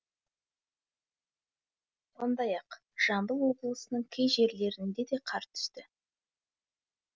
сондай ақ жамбыл облысының кей жерлеріне де қар түсті